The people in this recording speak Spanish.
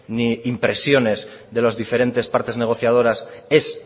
ni impresiones de los diferentes partes negociadoras es